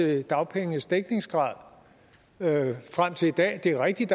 med dagpengenes dækningsgrad frem til i dag det er rigtigt